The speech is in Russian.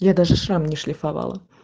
я даже сам не шлифовал